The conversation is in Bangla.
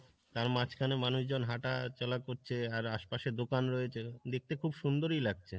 তার মাঝখানে মানুষ জন হাটা চলা করছে আর আস পাসে দোকান রয়েছে দেখতে খুব সুন্দরই লাগছে।